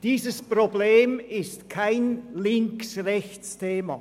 Dieses Problem ist kein Links-rechts-Thema.